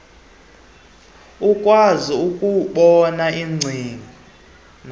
ukwazi ukubona iingcina